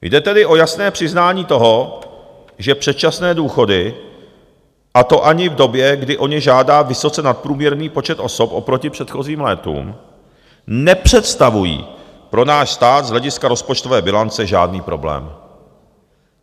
Jde tedy o jasné přiznání toho, že předčasné důchody, a to ani v době, kdy o ně žádá vysoce nadprůměrný počet osob oproti předchozím létům, nepředstavují pro náš stát z hlediska rozpočtové bilance žádný problém.